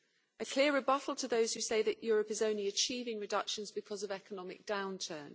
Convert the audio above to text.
a clear rebuttal to those who say that Europe is only achieving reductions because of economic downturn.